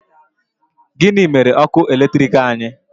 Gịnị mere ọkụ eletrik anyị?